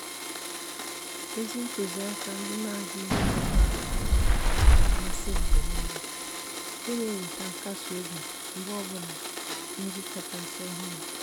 ézì ntụ́zị́àkà ndị nà-adị́ghị́ ágafe ágafe nà-àmàsị́ m mgbe nìile nke nà-èwétá nkasi obi mgbe ọ bụla nri nri kàchàsị́ ọ́hụ́rụ́.